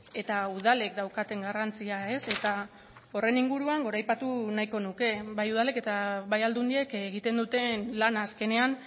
eta udalek daukaten garrantzia eta horren inguruan goraipatu nahiko nuke bai udalek eta bai aldundiek egiten duten lana azkenean